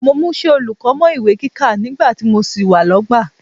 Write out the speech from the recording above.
Mo múṣẹ́ olùkọ́ mọ́ ìwé kíkà nígbà tí mo sì wà lọ́gbà